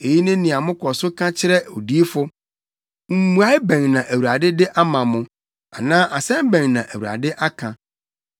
Eyi ne nea mokɔ so ka kyerɛ odiyifo: ‘Mmuae bɛn na Awurade de ama mo?’ Anaa ‘Asɛm bɛn na Awurade aka?’